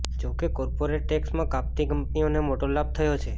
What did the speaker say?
જોકે કોર્પોરેટ ટેક્સમાં કાપથી કંપનીઓને મોટો લાભ થયો છે